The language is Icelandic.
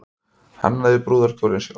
Hannaði brúðarkjólinn sjálf